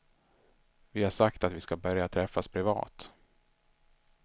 Vi har sagt att vi ska börja träffas privat.